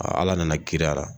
Aa Ala nana kiiri a la